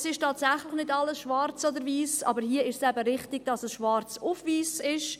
Es ist tatsächlich nicht alles schwarz oder weiss, aber hier ist es eben richtig, dass es schwarz auf weiss ist.